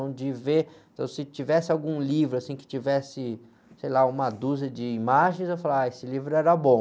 Então, de ver, então, se tivesse algum livro que tivesse, sei lá, uma dúzia de imagens, eu falava, ah, esse livro era bom.